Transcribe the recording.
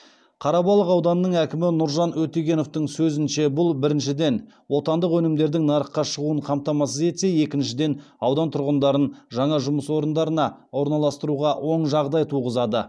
қарабалық ауданының әкімі нұржан өтегеновтің сөзінше бұл біріншіден отандық өнімдердің нарыққа шығуын қамтамасыз етсе екіншіден аудан тұрғындарын жаңа жұмыс орындарына орналастыруға оң жағдай туғызады